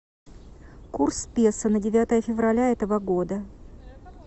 курс песо на девятое февраля этого года